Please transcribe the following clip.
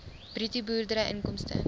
bruto boerdery inkomste